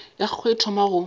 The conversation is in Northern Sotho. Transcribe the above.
ya gagwe e thoma go